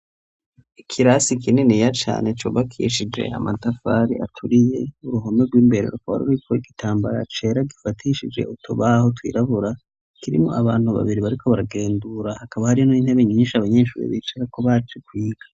ikirasi kinini ya cane cubakishije amatafari aturiye uruhume rw'imberero kor uriko igitambara acera gifatishije utubaho twirabura kirimo abantu babiri bariko baragendura hakaba hari no intebe nyinshi abanyeshuri bicara ko bace kwiga